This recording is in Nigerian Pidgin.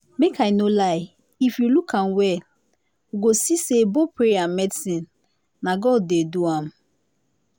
make i no lie if we look am well we go see say both prayer and medicine na god dey do am